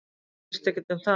Þetta snýst ekki um það